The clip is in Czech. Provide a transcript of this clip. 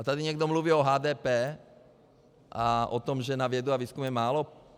A tady někdo mluví o HDP a o tom, že na vědu a výzkum je málo?